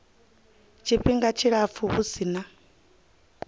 tshifhinga tshilapfu hu si na